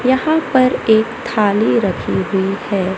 यहां पर एक थाली रखी हुई है।